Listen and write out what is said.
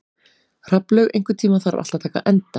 Hrafnlaug, einhvern tímann þarf allt að taka enda.